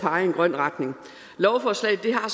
pege i en grøn retning lovforslaget har